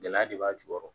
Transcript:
Gɛlɛya de b'a jukɔrɔ